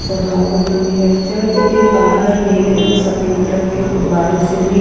सजावट हुई है चर्ज के बाहर नीले व सफेद रंग के गुब्बारों से भी --